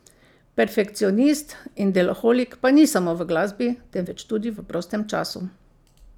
Perfekcionist in deloholik pa ni samo v glasbi, temveč tudi v prostem času.